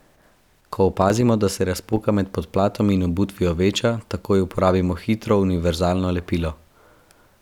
Ko opazimo, da se razpoka med podplatom in obutvijo veča, takoj uporabimo hitro univerzalno lepilo.